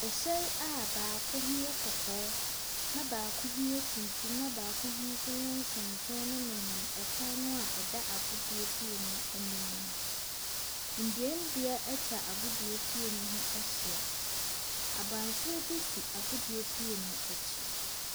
Ɛhyɛn a baako ho yɛ kɔkɔɔ, na baako ho yɛ tuntum, na baako ho nso yɛ nsonson ɛnenam ɛkwan na ɛda agudie fie no ɛnim no. Nnuanua ɛtwa agudie fie no ho ɛhyia. Abansoro bi si agudie fie n'akyi.